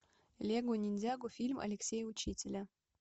лего ниндзяго фильм алексея учителя